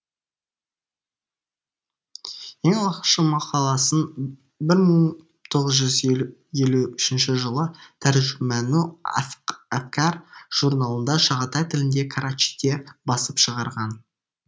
ең алғашқы мақаласын бір мың тоғыз жүз елу үшінші жылы тәржумәну әфкә журналында шағатай тілінде карачиде басып шығарған